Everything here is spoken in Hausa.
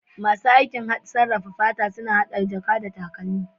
Masu aikin sarrafawa fata suna hada jaka da takalmi.